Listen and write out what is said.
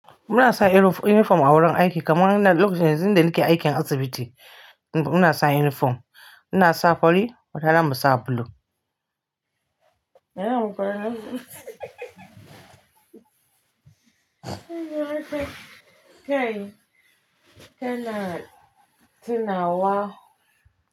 Muna sa uniform a wurin aiki kaman lokacin da nike aiki a asibiti muna sa uniform. Muna sa fari watanan mu sa blue. Kana tina wa.